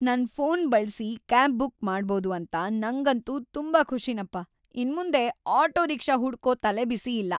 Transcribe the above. ನನ್ ಫೋನ್ ಬಳ್ಸಿ cab book ಮಾಡ್ಬೋದು ಅಂತ ನಂಗಂತೂ ತುಂಬಾ ಖುಷಿನಪ್ಪ. ಇನ್ಮುಂದೆ ಆಟೋ ರಿಕ್ಷಾ ಹುಡ್ಕೋ‌ ತಲೆಬಿಸಿ ಇಲ್ಲ.